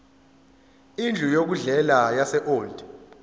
indlu yokudlela yaseold